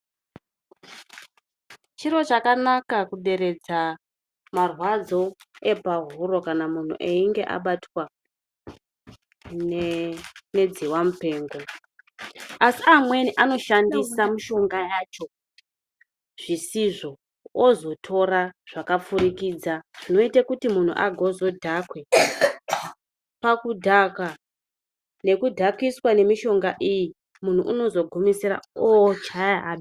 Chiro chakanaka kuderedza marwadzo epahuro kana muntu einge abatwa nebesha mupengo. Asi amweni anoshandisa mushonga wacho zvisizvo, ozotora zvakapfurikidza zvinozoita kuti muntu adhakwe. Pakudhakwa nekudhakiswa nemishonga iyi, muntu unozogumisira ochaya anhu.